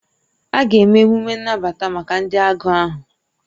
A ga-eme emume nnabata maka ndị agụụ ahụ